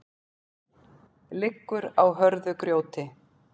liggur á hörðu grjóti